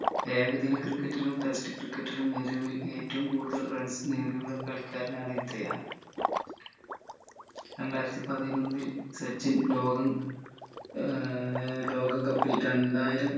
ഏകദിന ക്രിക്കറ്റിലും test ക്രിക്കറ്റിലും നിലവിൽ ഏറ്റവും കൂടുതൽ runs നേടിയുള്ള കളിക്കാരനാണ് ഇദ്ദേഹം രണ്ടായിരത്തി പതിനൊന്നിൽ സച്ചിൻ ലോകം ഏർ ലോക cup ൽ രണ്ടായിരം